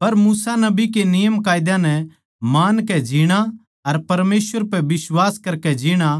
पर मूसा नबी के नियमकायदा नै मानकै जीणा अर परमेसवर पै बिश्वास करके जीणा